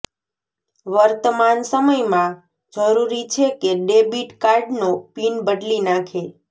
વર્તમાન સમયમાં જરૂરી છે કે ડેબિટ કાર્ડનો પિન બદલી નાખે